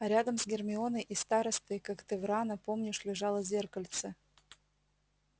а рядом с гермионой и старостой когтеврана помнишь лежало зеркальце